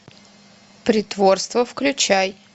притворство включай